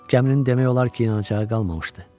Gəminin demək olar ki, yanacağı qalmamışdı.